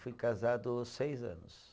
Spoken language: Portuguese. Fui casado seis anos.